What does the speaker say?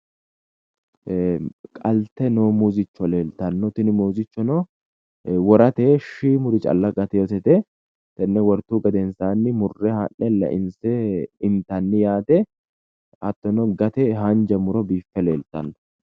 Qalte noo muuzichcho leeltanno tini muuzichchono worate shiimuri calla gatewosete tenne wortuhu gedensaanni murre haa'ne leinse intanin yaate hattono gate haanja muro biiffe leeltanno